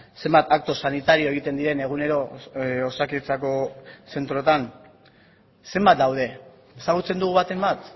zenbat akto sanitario egiten diren egunero osakidetzako zentroetan zenbat daude ezagutzen dugu baten bat